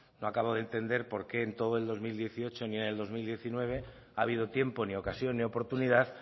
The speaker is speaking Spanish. no acabo de entender por qué en todo el dos mil dieciocho ni en el dos mil diecinueve ha habido tiempo ni ocasión ni oportunidad